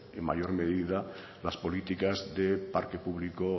en mayor medida las políticas de parque público